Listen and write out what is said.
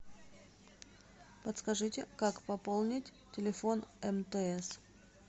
подскажите как пополнить телефон мтс